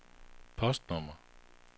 postnummer